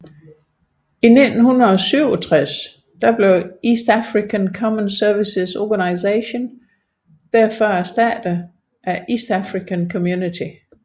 I 1967 blev East African Common Services Organisation derfor erstattet af East African Community